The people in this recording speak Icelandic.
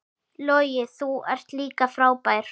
Logi, þú ert líka frábær.